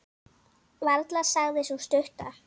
Varla, sagði sú stutta.